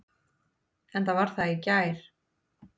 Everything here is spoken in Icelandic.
Enda var það í gær.